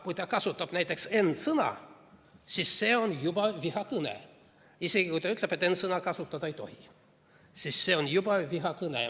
Kui ta kasutab näiteks n‑sõna, siis see ongi juba vihakõne – isegi kui ta ütleb, et n‑sõna kasutada ei tohi, sest see on vihakõne.